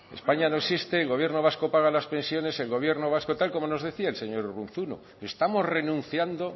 españa no existe el gobierno vasco paga las pensiones el gobierno vasco tal como nos decía el señor urruzuno estamos renunciando